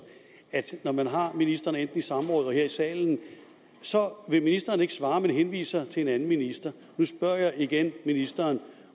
at når man har ministrene enten i samråd eller her i salen vil ministrene ikke svare men henviser til en anden minister nu spørger jeg igen ministeren